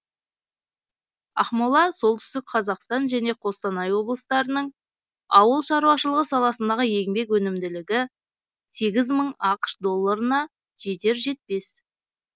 ақмола солтүстік қазақстан және қостанай облыстарының ауыл шаруашылығы саласындағы еңбек өнімділігі сегіз мың ақш долларына жетер жетпес